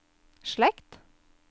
slekt